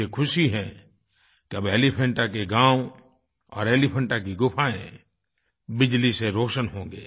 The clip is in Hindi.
मुझे ख़ुशी है कि अब एलीफेंटा के गाँव और एलीफेंटा की गुफाएँ बिजली से रोशन होंगे